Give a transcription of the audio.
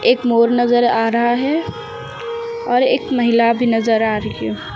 मोर नजर आ रहा है और एक महिला भी नजर आ रही है।